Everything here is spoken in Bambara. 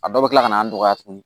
A dɔw bɛ kila ka na an dɔgɔya tuguni